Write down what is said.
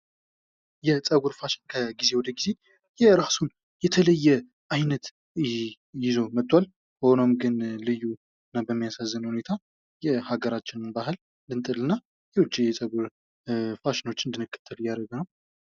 የፀጉር ፋሽን ከጊዜ ወደ ጊዜ የራሱ የተለየ አይነት ይዞ መጧል። ሆኖም ግን ልዩ ና በሚያሳዝን ሁኔታ የሀገራችንን ናህል ልንጥል እና የውጪ ፀጉር ፋሽኖችን እንድንከተል እያደረገ ነው።